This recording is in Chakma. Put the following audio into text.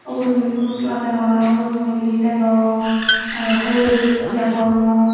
ubot meat masala dagong arow ubot maggie dagong arow horlicks dagongor.